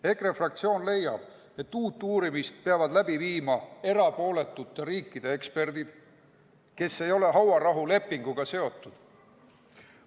EKRE fraktsioon leiab, et uut uurimist peavad läbi viima erapooletute riikide eksperdid, kes ei ole hauarahulepinguga seotud.